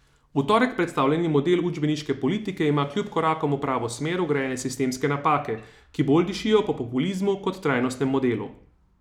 V torek predstavljeni model učbeniške politike ima kljub korakom v pravo smer vgrajene sistemske napake, ki bolj dišijo po populizmu kot trajnostnem modelu.